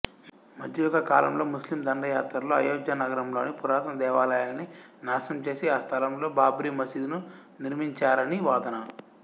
మధ్యయుగ కాలంలో ముస్లిం దండయాత్రల్లో అయోధ్యానగరంలోని పురాతన దేవాలయాన్ని నాశనం చేసి ఆ స్థలంలో బాబ్రీ మసీదును నిర్మించారని వాదన